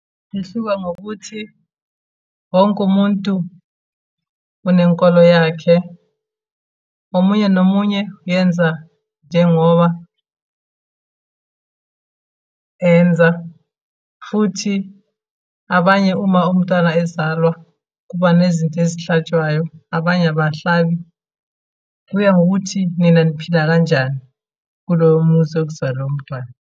Lihluka ngokuthi, wonke umuntu unenkolo yakhe. Omunye nomunye uyenza njengoba enza, futhi abanye uma umntwana ezalwa, kuba nezinto ezihlatshwayo, abanye abahlabi. Kuya ngokuthi nina niphila kanjani kulowo muzi okuzalwe umntwana.